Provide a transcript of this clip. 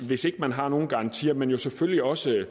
hvis ikke man har nogen garantier men selvfølgelig også i